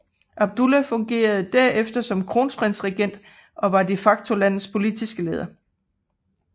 Abdullah fungerede der efter som kronprinsregent og var de facto landets politiske leder